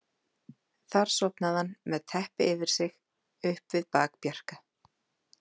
Þar sofnaði hann, með teppi yfir sig, upp við bak Bjarka.